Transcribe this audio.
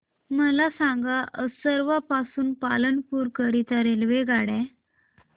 मला सांगा असरवा पासून पालनपुर करीता रेल्वेगाड्या